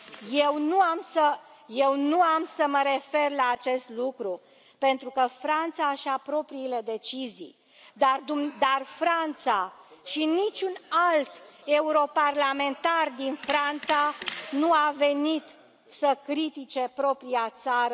Eu nu am să mă refer la acest lucru, pentru că Franța își ia propriile decizii, dar Franța și niciun alt europarlamentar din Franța nu a venit să critice propria țară